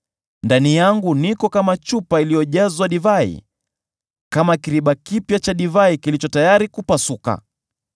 ndani yangu niko kama chupa iliyojazwa divai, kama kiriba kipya cha divai kilicho tayari kupasuka.